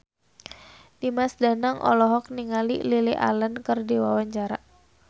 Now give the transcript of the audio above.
Dimas Danang olohok ningali Lily Allen keur diwawancara